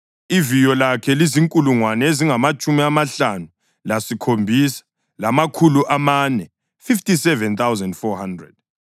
Iviyo lakhe lizinkulungwane ezingamatshumi amahlanu lasikhombisa, lamakhulu amane (57,400).